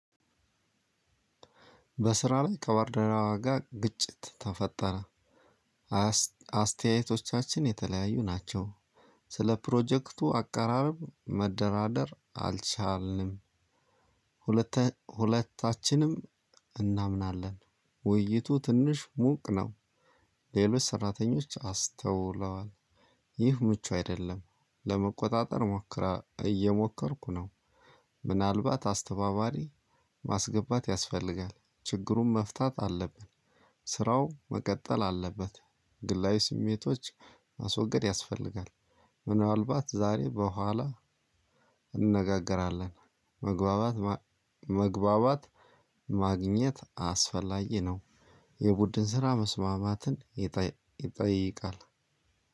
በስራ ላይ ከባልደረባ ጋር ግጭት ተፈጠረ። አስተያየቶቻችን የተለያዩ ናቸው። ሰለ ፕሮጀክቱ አቀራረብ መደራደር አልቻልንም። ሁለተኛ ሁለታችንም እናምናለን ውይይቱ ትንሽ ሙቅ ነው። ሌሎች ሰራተኞች አስተውለዋል። ይህ ምቹ አይደለም። ለመቆጣጠር ሞክራ እየሞከርኩ ነው። ምናልባት አስተባባሪ ማስገባት ያስፈልጋል ችግሩን መፍታት አለብን። ስራው መቀጠል አለበት። ግላዊ ስሜቶች ማስወገድ ያስፈልጋል። ምናልባት ዛሬ በኋላ እንነጋገራለን። መግባባት ማግኘት አስፈላጊ ነው። የቡድን ስራ መስማማትን ይጠይቃል።